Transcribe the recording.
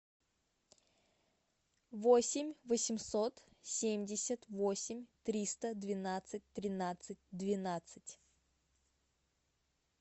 восемь восемьсот семьдесят восемь триста двенадцать тринадцать двенадцать